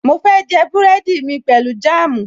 Mo fẹ́ jẹ búrẹ́dì mi pẹ̀lú jáàmù